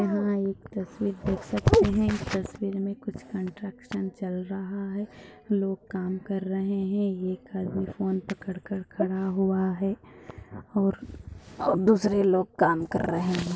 यहा एक तस्वीर देख सकते है तस्वीर में कुछ कंस्ट्रक्शन चल रहा है लोग काम कर रहे है एक आदमी फोन पकड़ कर खड़ा हुआ है और दूसरे लोग काम कर रहे है।